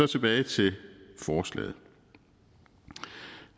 tilbage til forslaget